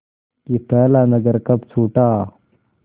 कि पहला नगर कब छूटा